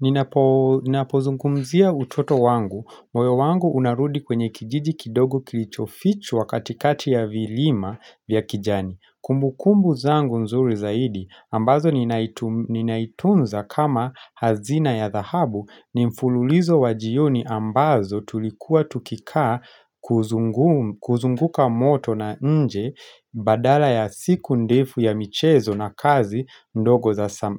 Ninapo zungumzia utoto wangu, moyo wangu unarudi kwenye kijiji kidogo kilicho fichwa katikati ya vilima vya kijani Kumbukumbu zangu nzuri zaidi, ambazo ninazitunza kama hazina ya dhahabu ni mfululizo wajioni ambazo tulikuwa tukikaa kuzunguka moto na nje badala ya siku ndefu ya michezo na kazi ndogo